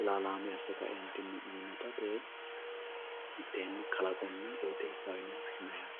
ilalame asse kaentinni uyinotta te"e kalaqonna qooxxeessaho yine woshshinanni.